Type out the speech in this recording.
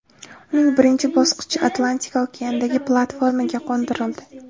Uning birinchi bosqichi Atlantika okeanidagi platformaga qo‘ndirildi.